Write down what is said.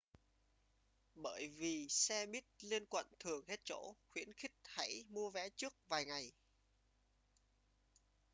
bởi vì xe buýt liên quận thường hết chỗ khuyến khích hãy mua vé trước vài ngày